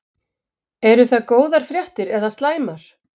Eru það góðar fréttir eða slæmar?